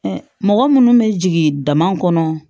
mɔgɔ minnu bɛ jigin dama kɔnɔ